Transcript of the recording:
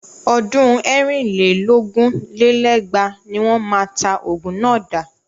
Ọdún ẹ̀rin lé lógún lé lẹ́gbàá ní wọ́n máa ta ogun náà dà.